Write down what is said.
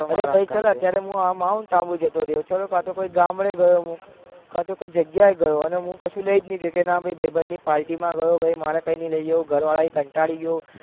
અરે અત્યારે હું અમ મોઉંન્ટ આબુ જતો રહ્યો કાતો ગામડે ગયો હું કાતો કોઈ જગાએ ગયો અને હું કસું કોઈ લઇ નહી ગયો ના કે ભાઈ બંધ ની party માં ગયો મારે કઈ નહી લઇ જવું ઘર વાર થી કંટારી ગયો